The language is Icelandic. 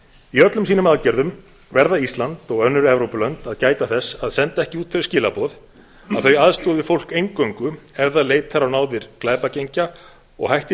í öllum sínum aðgerðum verða ísland og önnur evrópulönd að gæta þess að senda ekki út þau skilaboð að þau aðstoði fólk eingöngu ef það leitar á náðir glæpagengja og hættir